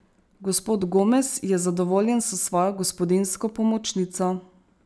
Gospod Gomez je zadovoljen s svojo gospodinjsko pomočnico.